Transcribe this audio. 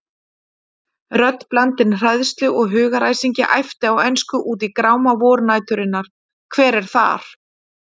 Rödd blandin hræðslu og hugaræsingi æpti á ensku út í gráma vornæturinnar: Hver er þar?!